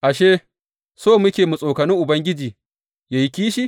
Ashe, so muke mu tsokani Ubangiji ya yi kishi?